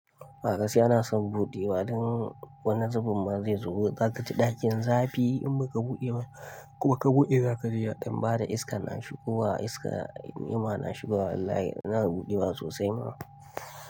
A gaskiya nason buɗewa don wani zubin ma zai zubo. Zaka ci ɗakin zafi in baka buɗe ba, kuma ka buɗe zaka ji ya ɗan bada iskan na shigowa iska. Niima na shigowa wallahi, ina buɗewa sosai ma.